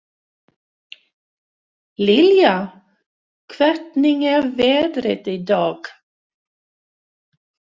Liljá, hvernig er veðrið í dag?